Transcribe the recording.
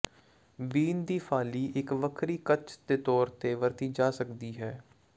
ਬੀਨ ਦੀ ਫਾਲੀ ਇਕ ਵੱਖਰੀ ਕੱਚ ਦੇ ਤੌਰ ਤੇ ਵਰਤੀ ਜਾ ਸਕਦੀ ਹੈ